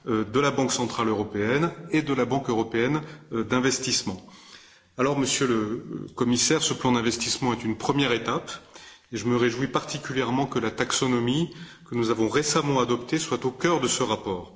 de la Banque centrale européenne et de la Banque européenne d'investissement. Alors, Monsieur le Commissaire, ce plan d'investissement est une première étape et je me réjouis particulièrement que la taxonomie, que nous avons récemment adoptée, soit au cœur de ce rapport.